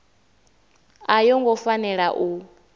a yo ngo fanela u